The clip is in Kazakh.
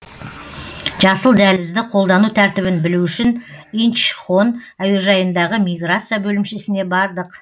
жасыл дәлізді қолдану тәртібін білу үшін инчхон әуежайындағы миграция бөлімшесіне бардық